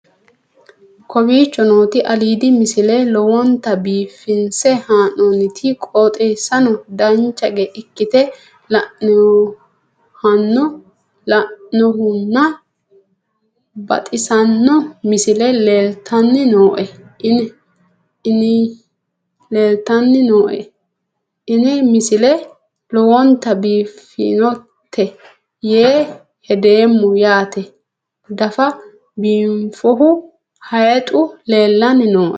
kowicho nooti aliidi misile lowonta biifinse haa'noonniti qooxeessano dancha ikkite la'annohano baxissanno misile leeltanni nooe ini misile lowonta biifffinnote yee hedeemmo yaate daffe biinfohu hayxu leellanni nooe